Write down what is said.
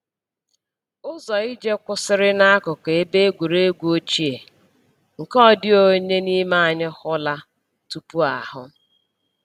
Ụzọ ije kwụsịrị n’akụkụ ebe egwuregwu ochie, nke ọ dịghị onye n’ime anyị hụla tupu ahụ.